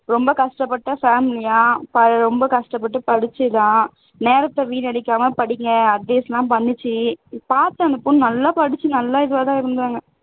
ரொம்ப கஷ்டப்பட்ட family யாம் அது ரொம்ப கஷ்டப்பட்டு படிச்சிதாம் நேரத்தை வீணடிக்காம படிங்க advice எல்லாம் பண்ணிச்சு பாத்தேன் அந்த பொன்னு நல்லா படிச்சி நல்லா இதுவாதான் இருந்தாங்க